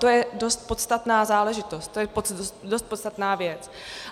To je dost podstatná záležitost, to je dost podstatná věc.